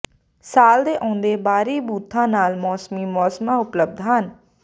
ਸਾਲ ਦੇ ਆਉਂਦੇ ਬਾਹਰੀ ਬੂਥਾਂ ਨਾਲ ਮੌਸਮੀ ਮੌਸਮਾਂ ਉਪਲਬਧ ਹਨ